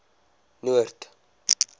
noord